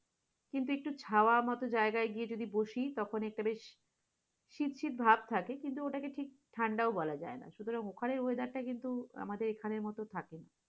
কিন্তু একটু চাওয়া মতো জায়গায় গিয়ে বসি তখন একটা বেশি শীত শীত ভাব থাকে কিন্তু ওটাকে শীত ঠান্ডা ও বলা যায় না, সুতারং ওখানের weather টা কিন্তু আমাদের মত থাকেনা,